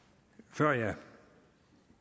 og før jeg